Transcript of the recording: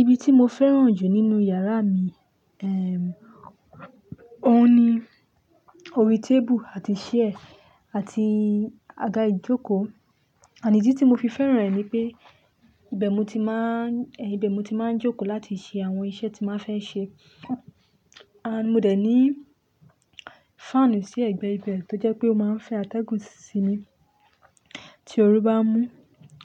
Ibi tí mo fẹ́ràn jù nínú yàrá mi, eh, òun ni orí tábù àti ṣẹ́ẹ̀ àti àga ìjókòó. Ànídí tí mo fi fẹ́ràn rẹ̀ ni pé, ibẹ̀ mo ti máa n-- ibẹ̀ mo ti máa ń jókòó láti ṣe àwọn iṣẹ́ tí máa fẹ́ ṣe. À mo dẹ̀ ní fáànù sí ẹ̀gbẹ̀ẹ̀gbẹ̀ẹ́ tó jẹ́ pé ó máa ń fẹ́ atẹ́gùn síi mi tí oru bá mú.